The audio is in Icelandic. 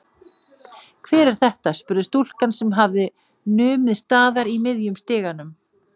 Hver er þetta? spurði stúlkan sem hafði numið staðar í miðjum stiganum.